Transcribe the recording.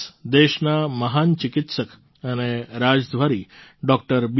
આ દિવસ દેશના મહાન ચિકિત્સક અને રાજદ્વારી ડૉ